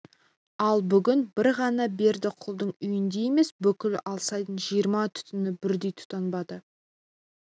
ал бүгін бір ғана бердіқұлдың үйінде емес бүкіл алсайдың жиырма түтіні бірдей тұтанбады